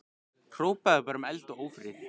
Hrópaði bara um eld og ófrið.